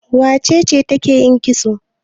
Wace ce take yin kitso?